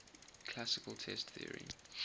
classical test theory